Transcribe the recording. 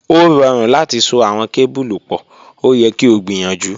O rọrun lati so awọn kebulu pọ, o yẹ ki o gbiyanju.